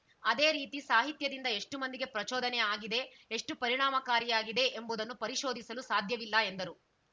ಅದೇ ರೀತಿ ಸಾಹಿತ್ಯದಿಂದ ಎಷ್ಟುಮಂದಿಗೆ ಪ್ರಚೋದನೆ ಆಗಿದೆ ಎಷ್ಟುಪರಿಣಾಮಕಾರಿಯಾಗಿದೆ ಎಂಬುದನ್ನು ಪರಿಶೋಧಿಸಲು ಸಾಧ್ಯವಿಲ್ಲ ಎಂದರು